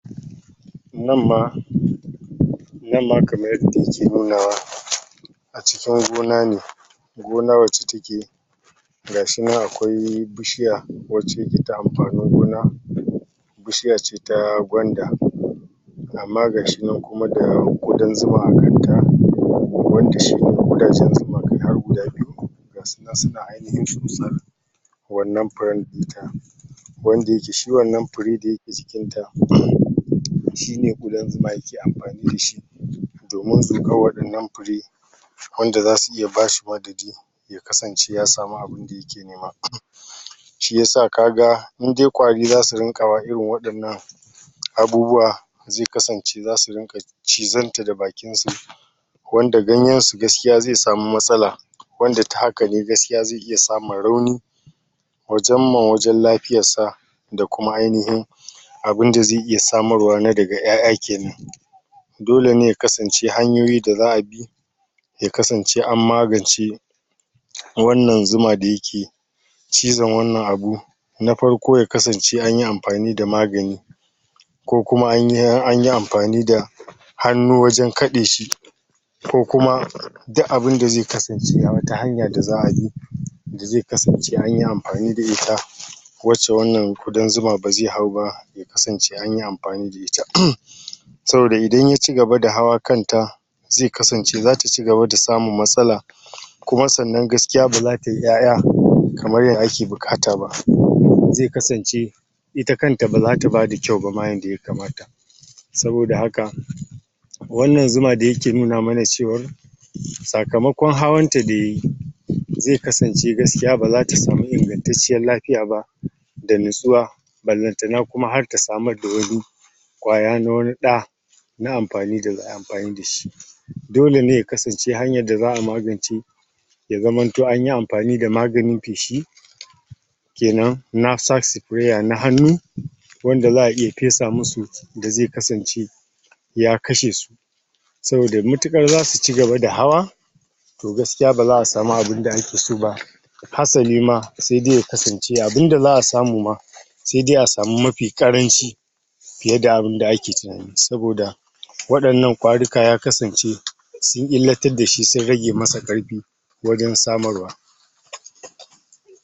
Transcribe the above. Nan ma kaman yadda ke nuna wa a cikin gona ne, gona wace take gashi nan akwai bishiya amfanin gona bishiya ce ta gwanda amma gashi nan kuma da zuma a kan ta [? har guda biyu suna ainihir wannan wanda yake shi wannan da ke jikin ta, shi ne zuma ke amfani da shi domin wanda za su iya ya kasance ya samu abun da yake nema. shi yasa ka ga in dai kwari za su dinga irin wadanna abubuwa zai kasance za su dinga cizar ta da bakin su wanda ganyen su gaskiya ze samu matsala wanda gaskiya ze iya samun rawan wajen lafiyar sa da kuma ainihin abun da ze iya samarwa na daga iyaiya kenan dole ne ya kasance hanyoyin da za bi ya kasance an magance wannan zuma da yake cizon wannan abu na farko ya kasance anyi amfani da magani ko kuma anyi amfani da hanu wajen kade shi ko kuma duk abun da ze kasance a wat hanya da za a bi da ze kasance anyi amfani da ita wace wannan zuma ba za hau ba ya kasance anyi amfani da ita. Saboda idan ya cigaba da hawan kan ta ze kasance, za ta cigaba da samun matsala, kuma sannan, gaskiya ba za ta yi iyaiya kamar da ake bukata ba, ze kasance ita kan ta baza ta bada kyau yanda ya kamata saboda haka, wannan zuma da yake nuna mana cewa sakamakon hawan ta da yayi ze kasance gaskiya ba za ta samu inganttancen lafiya ba da nasuwa balantana kuma har ta samar da kwaya na wane da na amfani da shi. Dole ne ya kasance hanyar da za a magance ya zaman to anyi amfani da maganin peshi kenan, na hanu wanda za iya pesa musu da ze kasance ya kashe su. saboda mutukar za su cigaba da hawa, toh gaskiya baza a samu abun da ake so ba ma saidai ya kasance abun da za a samu ma, saidai a samu mafi karanci fiye da abun da ake tunani, saboda wadannan kwaruka ya kasance sun illatar da shi, sun rage masa karfi